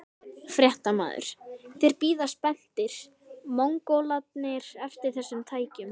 Fréttamaður: Þeir bíða spenntir, Mongólarnir eftir þessum tækjum?